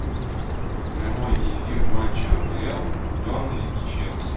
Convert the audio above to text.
прямой эфир матча апл бернли и челси